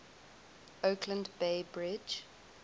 oakland bay bridge